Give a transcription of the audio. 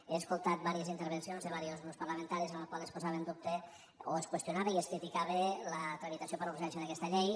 he escoltat diverses intervencions de diversos grups parlamentaris en les quals es posava en dubte o es qüestionava i es criticava la tramitació per urgència d’aquesta llei